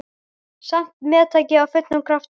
Samt meðtek ég af fullum krafti.